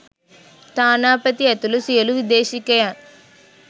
තානාපති ඇතුළු සියලු විදේශිකයන්